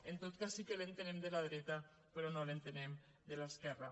en tot cas sí que l’entenem de la dreta però no l’entenem de l’esquerra